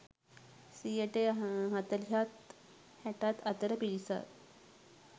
සියයට හතළිහත් හැටත් අතර පිරිසක්